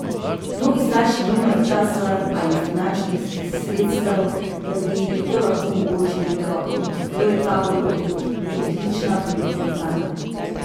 Mnogi starši nimajo časa ali finančnih sredstev, da bi to lahko omogočili otrokom, zato je tabor odlična priložnost zanje.